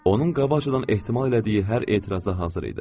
Onun qabaqcadan ehtimal elədiyi hər etirazə hazır idi.